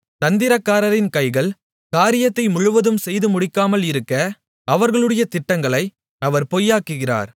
தந்திரக்காரரின் கைகள் காரியத்தை முழுவதும் செய்துமுடிக்காமல் இருக்க அவர்களுடைய திட்டங்களை அவர் பொய்யாக்குகிறார்